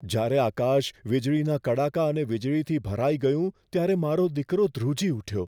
જ્યારે આકાશ વીજળીના કડાકા અને વીજળીથી ભરાઈ ગયું ત્યારે મારો દીકરો ધ્રુજી ઉઠ્યો.